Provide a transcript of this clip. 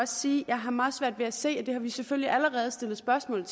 sige at jeg har meget svært ved at se og det har vi selvfølgelig allerede stillet spørgsmål